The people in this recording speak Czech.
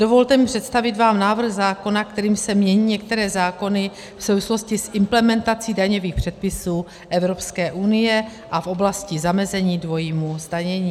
Dovolte mi představit vám návrh zákona, kterým se mění některé zákony v souvislosti s implementací daňových předpisů Evropské unie a v oblasti zamezení dvojímu zdanění.